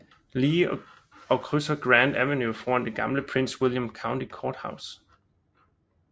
Lee og krydser Grant Avenue foran det gamle Prince William County Courthouse